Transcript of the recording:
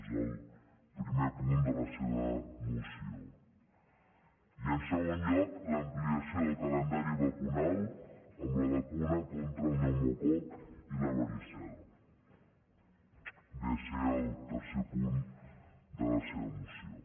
és el primer punt de la seva moció i en segon lloc l’ampliació del calendari vacunal amb les vacunes contra el pneumococ i la varicel·la ve a ser el tercer punt de la seva moció